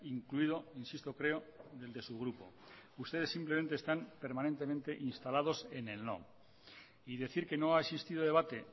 incluido insisto creo de su grupo ustedes simplemente están permanentemente instalados en el no y decir que no ha existido debate